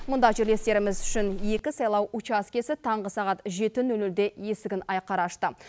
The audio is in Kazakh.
мұнда жерлестеріміз үшін екі сайлау учаскесі таңғы сағат жеті нөл нөлде есігін айқара ашты